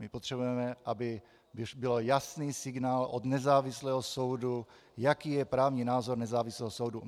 My potřebujeme, aby byl jasný signál od nezávislého soudu, jaký je právní názor nezávislého soudu.